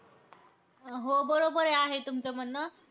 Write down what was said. हो बरोबर आहे तुमचं म्हणणं.